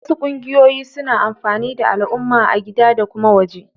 Wasu ƙungiyoyin suna amfanar da alumma a gida da kuma waje.